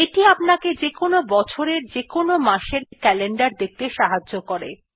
এইটি আপনাকে যেকোন বছরের যেকোন মাস এর ক্যালেন্ডার দেখতে সাহায্য করে